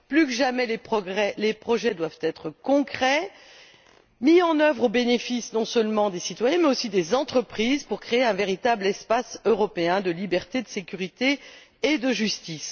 Plus que jamais les projets doivent être concrets et mis en œuvre au bénéfice non seulement des citoyens, mais aussi des entreprises, pour créer un véritable espace européen de liberté, de sécurité et de justice.